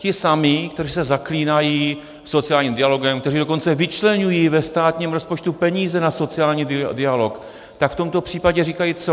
Ti samí, kteří se zaklínají sociálním dialogem, kteří dokonce vyčleňují ve státním rozpočtu peníze na sociální dialog, tak v tomto případě říkají co?